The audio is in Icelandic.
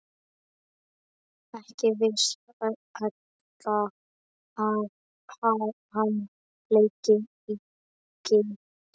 Ekki vissi Edda að hann léki á gítar.